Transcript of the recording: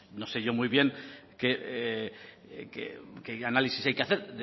no sé yo muy bien qué análisis hay que hacer